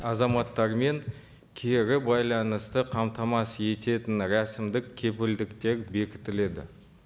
азаматтармен кері байланысты қамтамасыз ететін рәсімдік кепілдіктер бекітіледі